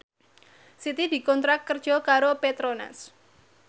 Siti dikontrak kerja karo Petronas